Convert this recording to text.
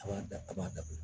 A b'a da a b'a dabila